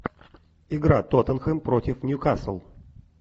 игра тоттенхэм против ньюкасл